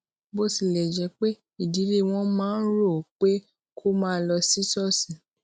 bó tilè jé pé ìdílé wọn máa ń rò ó pé kó máa lọ sí ṣóòṣì